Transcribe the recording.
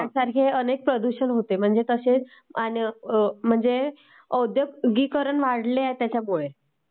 अश्यासारेखे बरेच प्रकारचे प्रदूषण पण होते...म्हणजे कसे..औद्योगीकरण वाढले त्याच्यामुळे